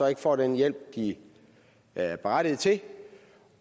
ikke får den hjælp de er berettigede til